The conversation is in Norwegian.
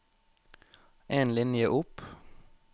En linje opp